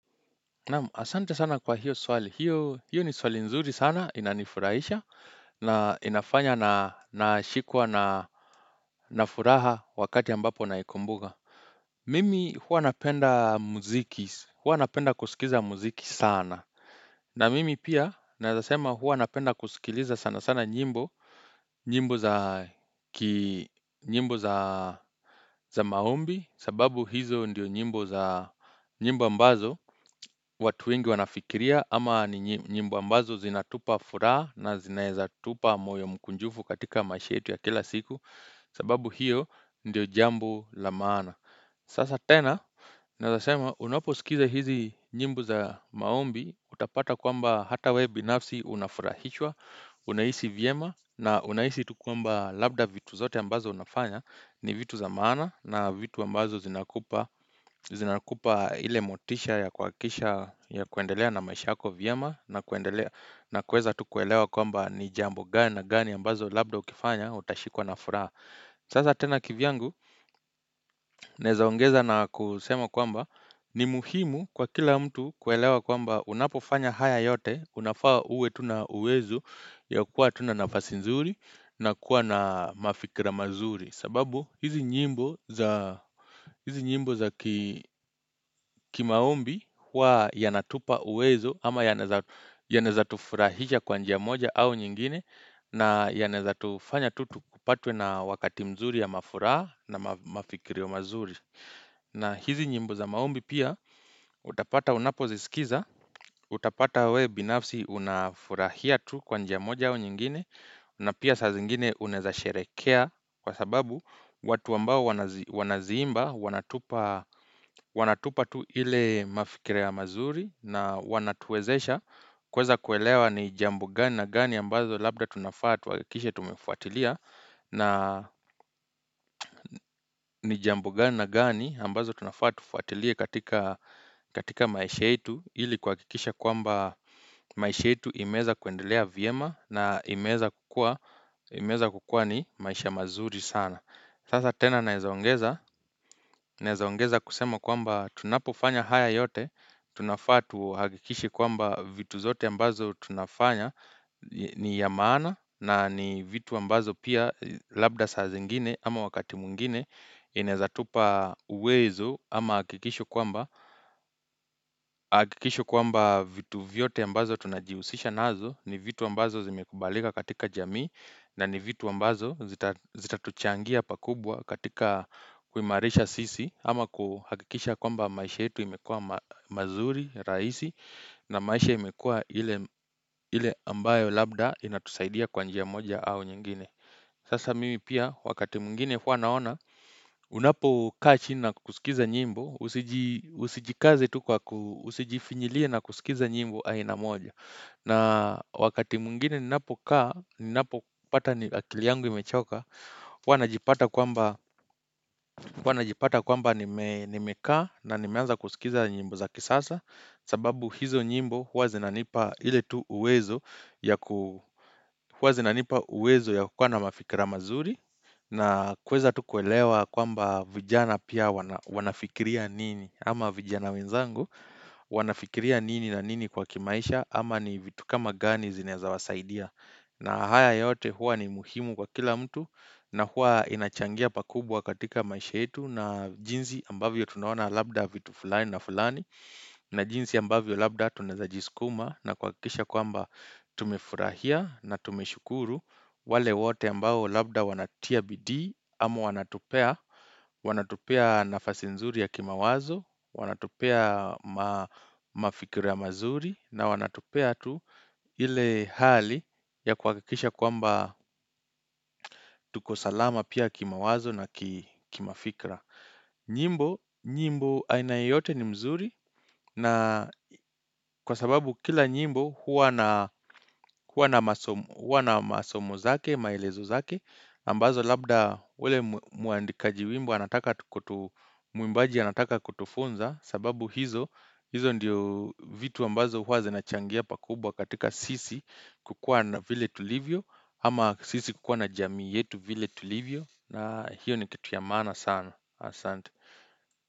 Naam asante sana kwa hiyo swali hiyo hiyo ni swali nzuri sana inanifurahisha na inafanya na nashikwa na na furaha wakati ambapo naikumbuka Mimi huwa napenda muziki huwa napenda kusikiza muziki sana na mimi pia naezasema huwa napenda kusikiliza sana sana nyimbo nyimbo za ki nyimbo za za maombi sababu hizo ndiyo nyimbo za nyimbo ambazo watu wengi wanafikiria ama ni nyimbo ambazo zinatupa furaha na zinaezatupa moyo mkunjufu katika maish yetu ya kila siku sababu hiyo ndio jambo la maana Sasa tena naezasema unaposikiza hizi nyimbo za maombi utapata kwamba hata we binafsi unafurahishwa Unahisi vyema na unahisi tukuamba labda vitu zote ambazo unafanya ni vitu za maana na vitu ambazo zinakupa zinakupa ile motisha ya kuhakikisha ya kuendelea na maisha yako vyema na kuendelea na kuweza tu kuelewa kwamba ni jambo gani na gani ambazo labda ukifanya utashikwa na furaha sasa tena kivyangu naezaongeza na kusema kwamba ni muhimu kwa kila mtu kuelewa kwamba unapofanya haya yote unafaa uwe tuna uwezo ya kuwa tuna nafasi nzuri na kuwa na mafikira mazuri sababu hizi nyimbo za hizi nyimbo za kimaombi huwa yanatupa uwezo ama yanaeza tufurahisha kwa njia moja au nyingine na yanaeza tufanya tutupatwe na wakati mzuri ya mafuraha na mafikirio mazuri. Na hizi nyimbo za maombi pia utapata unapo zisikiza, utapata we binafsi unafurahia tu kwanja moja au nyingine na pia sa zingine uneza sherekea kwa sababu watu ambao wanaziimba wanatupa tu ile mafikira ya mazuri na wanatuezesha kuweza kuelewa ni jambo gani na gani ambazo labda tunafaa tuhakikishe tumefuatilia na ni jambo gani gani ambazo tunafaa tufuatilie katika maisha itu Hili kwa kikisha kwamba maisha itu imeza kuendelea viema na imeza kukua ni maisha mazuri sana Sasa tena naezaongeza Naezaongeza kusema kwamba tunapofanya haya yote tunafaa tu hakikishi kwamba vitu zote ambazo tunafanya ni ya maana na ni vitu ambazo pia labda saa zingine ama wakati mwingine inaezatupa uwezo ama hakikisho kwamba vitu vyote ambazo tunajiusisha nazo ni vitu ambazo zimekubalika katika jamii na ni vitu ambazo zitatuchangia pakubwa katika kuimarisha sisi ama kuhakikisha kwamba maisha itu imekua mazuri, rahisi na maisha imekua ile ambayo labda inatusaidia kwa njia moja au nyingine Sasa mimi pia, wakati mwingine wanaona, unapokaa chini na kusikiza nyimbo, usijikaze tu kwa kusijifinjilie na kusikiza nyimbo aina moja. Na wakati mwingine ninapo kaa, ninapo pata ni akili yangu imechoka, huwanajipata kwamba nimekaa na nimeanza kusikiza nyimbo za kisasa. Sababu hizo nyimbo huwa zinanipa ile tu uwezo ya kuwa na mafikira mazuri na kuweza tu kuelewa kwamba vijana pia wanafikiria nini ama vijana wenzangu wanafikiria nini na nini kwa kimaisha ama ni vitu kama gani zinaeza wasaidia na haya yote huwa ni muhimu kwa kila mtu na huwa inachangia pakubwa katika maisha yetu na jinsi ambavyo tunaona labda vitu fulani na fulani na jinsi ambavyo labda tunaeza jiskuma na kuhakikisha kwamba tumefurahia na tume shukuru wale wote ambao labda wanatia bidi ama wanatupea wanatupea nafasi nzuri ya kimawazo, wanatupea mafikiru ya mazuri na wanatopea tu ile hali ya kwa kisha kwamba tuko salama pia kimawazo na kimafikra nyimbo, nyimbo aina yote ni mzuri na kwa sababu kila nyimbo huwa na masomo zake, maelezo zake ambazo labda ule muandikaji wimbo anataka kutu muimbaji anataka kutufunza sababu hizo, hizo ndiyo vitu ambazo huwa zinachangia pakubwa katika sisi kukua na vile tulivyo ama sisi kukua na jamii yetu vile tulivyo na hiyo ni kitu ya mana sana Asante.